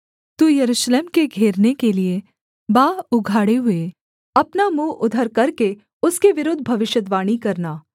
तू यरूशलेम के घेरने के लिये बाँह उघाड़े हुए अपना मुँह उधर करके उसके विरुद्ध भविष्यद्वाणी करना